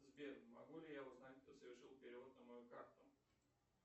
сбер могу ли я узнать кто совершил перевод на мою карту